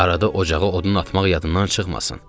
Arada ocağa odun atmaq yadından çıxmasın.